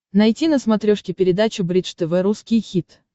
найти на смотрешке передачу бридж тв русский хит